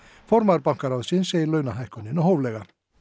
formaður bankaráðs segir launahækkunina hóflega